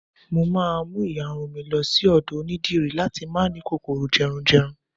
mo ma mu iyarun mi lo sí ọdọ onidiri lati ma ni kòkòrò jerunjerun